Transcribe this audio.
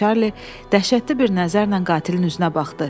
Çarli dəhşətli bir nəzərlə qatilin üzünə baxdı.